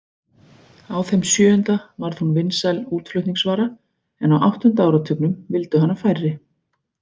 Á þeim sjöunda varð hún vinsæl útflutningsvara en á áttunda áratugnum vildu hana færri.